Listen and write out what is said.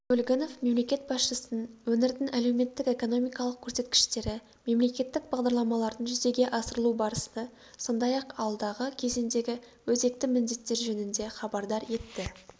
көлгінов мемлекет басшысын өңірдің әлеуметтік-экономикалық көрсеткіштері мемлекеттік бағдарламалардың жүзеге асырылу барысы сондай-ақ алдағы кезеңдегі өзекті міндеттер жөнінде хабардар етті